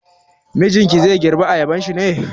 Mijinki zai girbe ayabanshi ne?